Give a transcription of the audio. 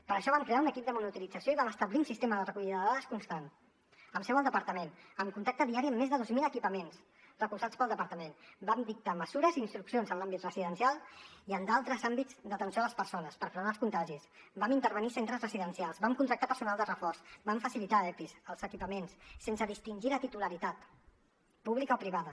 per això vam crear un equip de monitorització i vam establir un sistema de recollida de dades constant amb seu al departament amb contacte diari amb més de dos mil equipaments recolzats pel departament vam dictar mesures i instruccions en l’àmbit residencial i en d’altres àmbits d’atenció a les persones per frenar els contagis vam intervenir centres residencials vam contractar personal de reforç vam facilitar epis els equipaments sense distingir la titularitat pública o privada